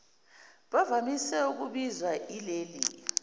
bavamise ukubizwa ileli